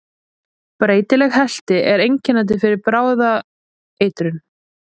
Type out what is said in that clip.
Breytileg helti er einkennandi fyrir bráða eitrun.